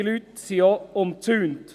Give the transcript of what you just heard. Die Leute sind auch umzäunt.